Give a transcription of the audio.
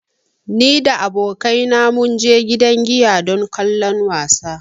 Ni da abokaina mun je gidan giya don kallon wasan.